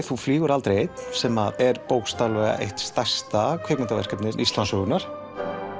þú flýgur aldrei einn sem er bókstaflega eitt stærsta kvikmyndaverkefni Íslandssögunnar